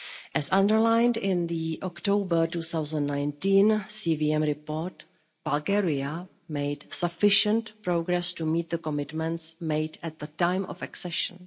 As underlined in the October 2019 CVM report, Bulgaria made sufficient progress to meet the commitments made at the time of accession.